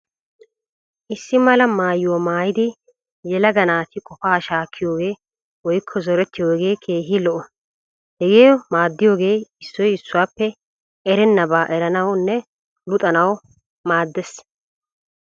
Issi mala maayuwa maayidi yelaga naati qofaa shaakkiyoogee woykko zorettiyoogee keehi lo'o. Hegee maaddiyoogee issoy issuwaappe erennabaa eranawunne luxanawu maaddees.